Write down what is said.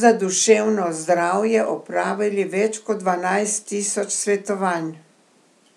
za duševno zdravje opravili več kot dvanajst tisoč svetovanj.